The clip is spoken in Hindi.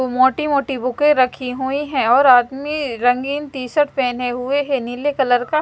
मोटी मोटी बुके रखी हुई हैं और आदमी रंगीन टी शर्ट पहने हुए है नीले कलर का।